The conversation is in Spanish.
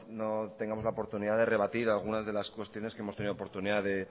no tengamos la oportunidad de rebatir algunas de las cuestiones que hemos tenido oportunidad de